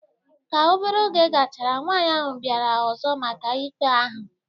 Ka obere oge gachara, nwaanyị ahụ bịara ọzọ maka ikpe ahụ